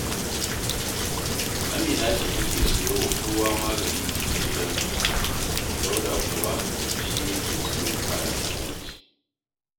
Amina ce take siyo wa kowa magani a gidansu, Dauda kuwa shi yake siyo kayan abinci